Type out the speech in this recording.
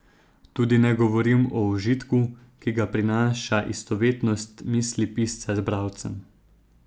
Tudi ne govorim o užitku, ki ga prinaša istovetnost misli pisca z bralcem.